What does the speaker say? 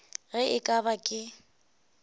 ge e ka ba ke